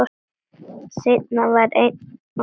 Steina var ein okkar.